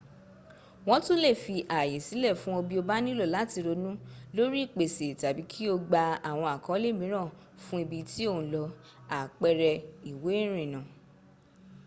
wọ́n tún lè fi ààyè sílẹ̀ fún ọ bí o bá nílò láti ronú lórí ìpèsè tàbí kí o gba àwọn àkọ́ọ̀lẹ̀ mìíran fún ibi tí ò ń lọ àpẹrẹ. ìwé ìrìnnà